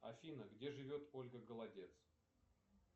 афина где живет ольга голодец